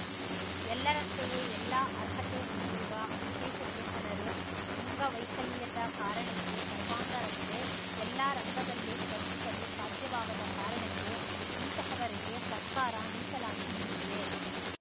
ಎಲ್ಲರಂತೆಯೇ ಎಲ್ಲಾ ಅರ್ಹತೆ ಹೊಂದಿರುವ ವಿಶೇಷಚೇತನರು ಅಂಗವೈಕಲ್ಯದ ಕಾರಣಕ್ಕೆ ಸರ್ವಾಂಗರಂತೆ ಎಲ್ಲಾ ರಂಗದಲ್ಲೂ ಸ್ಪರ್ಧಿಸಲು ಸಾಧ್ಯವಾಗದ ಕಾರಣಕ್ಕೆ ಇಂತಹವರಿಗೆ ಸರ್ಕಾರ ಮೀಸಲಾತಿ ನೀಡಿದೆ